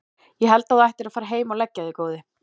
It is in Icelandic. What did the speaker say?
Ég held að þú ættir að fara heim og leggja þig góði!